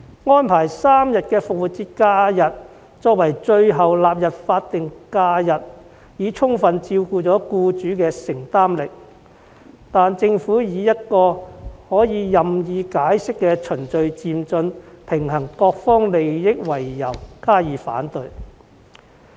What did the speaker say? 以3天復活節假期作為最後納入法定假日的安排已充分顧及僱主的承擔能力，但政府以可作任意解釋的"循序漸進，平衡各方利益"為由加以反對。